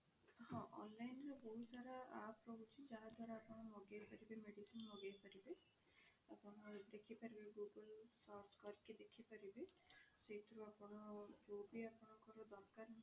ହଁ online ରେ ବହୁତ ସାରା app ରହୁଛି ଯାହା ଦ୍ଵାରା ଆପଣ ମଗେଇ ପାରିବେ medicine ମଗେଇ ପାରିବେ ଆପଣ ଦେଖି ପାରିବେ google search କରିକି ଦେଖି ପାରିବେ ସେଇଥିରୁ ଆପଣ ଯୋଉ ବି ଆପଣଙ୍କର ଦରକାର